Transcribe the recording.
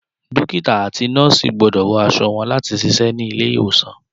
Dókítà àti Nọ́ọ̀sì gbọ́dọ̀ wọ aṣọ wọn láti ṣiṣẹ́ ní ilé ìwòsàn